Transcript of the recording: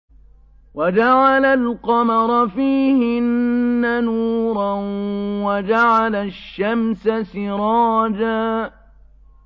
وَجَعَلَ الْقَمَرَ فِيهِنَّ نُورًا وَجَعَلَ الشَّمْسَ سِرَاجًا